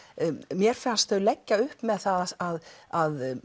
mér fannst þau leggja upp með það að að